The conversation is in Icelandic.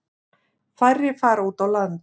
Færri fara út á land.